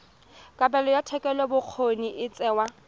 kabelo ya thetelelobokgoni e tsewa